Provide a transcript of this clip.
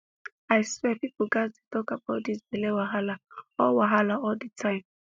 i swear people gats dey talk about this belle wahala all wahala all the time